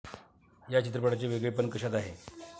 या चित्रपटाचे वेगळेपण कशात आहे?